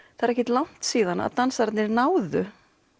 ekkert langt síðan dansararnir náðu